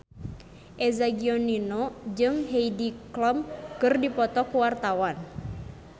Eza Gionino jeung Heidi Klum keur dipoto ku wartawan